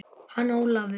Hann Ólafur?